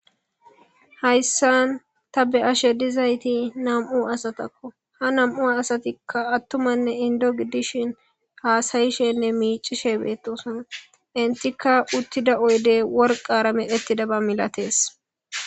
hayssan ta be7ashe dizayti nam7u asatakko ha nam7u asatikka attumanne indo giddishin haasayishenne miicishe beettosan intikka uttida oyde worqara medhettida ba malatees